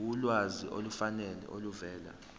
ulwazi olufanele oluvela